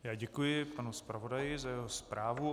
Já děkuji panu zpravodaji za jeho zprávu.